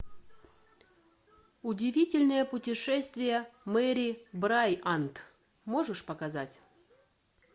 удивительное путешествие мэри брайант можешь показать